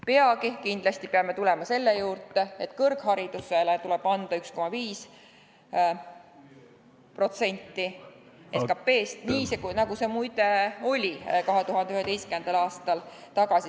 Peagi peame kindlasti tulema selle juurde, et kõrgharidusele tuleb anda tagasi 1,5% SKT-st, nii nagu see oli muide 2011. aastal.